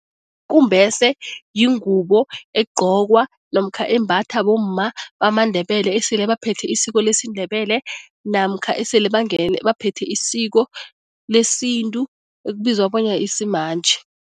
Ikumbese yingubo egqokwa namkha embathwa bomma bamaNdebele esele baphethe isiko lesiNdebele namkha esele baphethe isiko lesintu ekubizwa bona simanje.